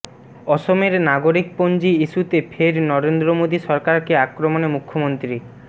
অসমের নাগরিকপঞ্জি ইস্যুতে ফের নরেন্দ্র মোদী সরকারকে আক্রমণে মুখ্যমন্ত্রী